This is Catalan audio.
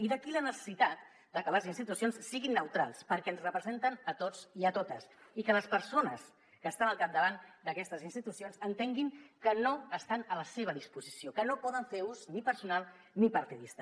i d’aquí la necessitat de que les institucions siguin neutrals perquè ens representen a tots i a totes i que les persones que estan al capdavant d’aquestes institucions entenguin que no estan a la seva disposició que no en poden fer ús ni personal ni partidista